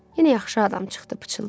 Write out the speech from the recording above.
Yenə yaxşı adam çıxdı, pıçıldadı.